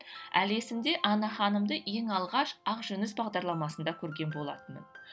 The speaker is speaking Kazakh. әлі есімде анна ханымды ең алғаш ақжүніс бағдарламасында көрген болатынмын